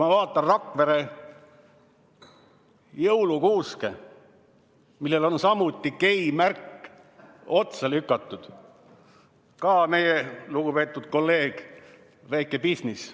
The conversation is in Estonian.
Ma vaatan Rakvere jõulukuuske, millele on samuti geimärk otsa lükatud – ka meie lugupeetud kolleeg, väike bisnis.